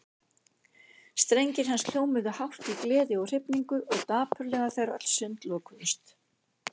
Strengir hans hljómuðu hátt í gleði og hrifningu og dapurlega þegar öll sund lokuðust.